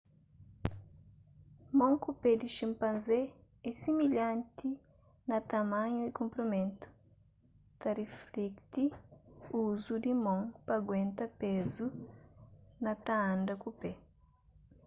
mon ku pé di xinpanzé é similhanti na tamanhu y konprimentu ta riflekti uzu di mon pa aguenta pezu na ta anda ku pé